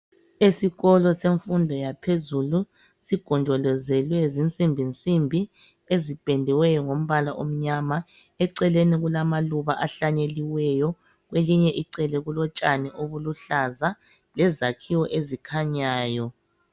Esikolo semfundo yaphezulu sigonjolozelwe zinsimbinsimbi ezipendiweyo ngombala omnyama. Eceleni kulamaluba ahlanyelwayo, kwelinye icele kulotshani obuluhlaza lezakhiwo ezikhanyayo.